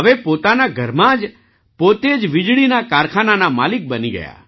હવે પોતાના ઘરમાં જ પોતે જ વીજળીના કારખાનાના માલિક બની ગયા